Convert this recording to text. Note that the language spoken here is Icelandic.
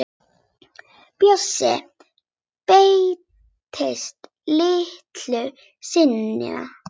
Bjössi birtist litlu seinna.